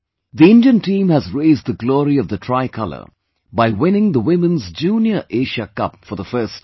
The Indian team has raised the glory of the Tricolor by winning the Women's Junior Asia Cup for the first time